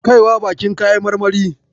Kaiwa baƙin kayan marmarin.